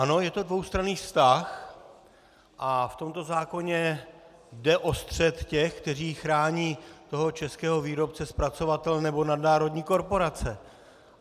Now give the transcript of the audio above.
Ano, je to dvoustranný vztah a v tomto zákoně jde o střet těch, kteří chrání toho českého výrobce, zpracovatele, nebo nadnárodní korporace.